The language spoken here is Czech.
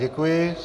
Děkuji.